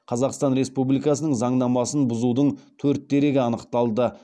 қазақстан республикасының заңнамасын бұзудың төрт дерегі анықталды